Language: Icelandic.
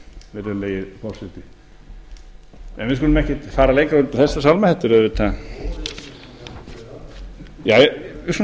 virðulegi forseti en við skulum ekkert fara lengra út í þessa sálma þetta er auðvitað við skulum segja að